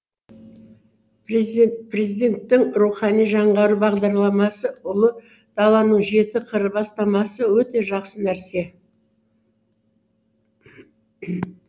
президент президенттің рухани жаңғыру бағдарламасы ұлы даланың жеті қыры бастамасы өте жақсы нәрсе